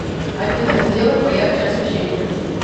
афина сделай поярче освещение